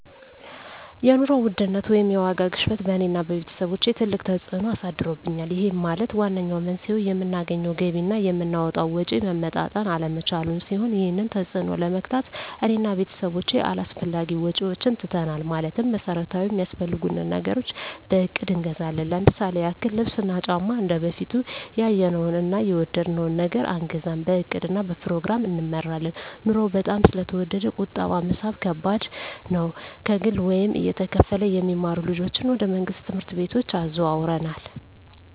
የኑሮ ውድነት ወይም የዋጋ ግሽበት በእኔ እና በቤተሰቦቸ ትልቅ ተፅእኖ አሳድሮብናል ይህም ማለት ዋነኛው መንስኤው የምናገኘው ገቢ እና የምናወጣው ወጪ መመጣጠን አለመቻሉን ሲሆን ይህንን ተፅዕኖ ለመግታት እኔ እና ቤተሰቦቸ አላስፈላጊ ወጪዎችን ትተናል ማለትም መሠረታዊ ሚያስፈልጉንን ነገሮች በእቅድ እንገዛለን ለምሳሌ ያክል ልብስ እና ጫማ እንደበፊቱ ያየነውን እና የወደድነውን ነገር አንገዛም በእቅድ እና በፕሮግራም እንመራለን ኑሮው በጣም ስለተወደደ ቁጠባ መሣብ ከባድ ነው። ከግል ወይም እየተከፈለ የሚማሩ ልጆችን ወደ መንግሥት ትምህርት ቤቶች አዘዋውረናል።